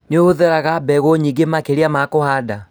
Nĩhũthagĩra mbegũ nyingĩ makĩria ma kũhanda